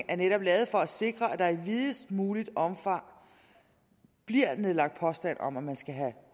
er netop lavet for at sikre at der i videst muligt omfang bliver nedlagt påstand om at man skal have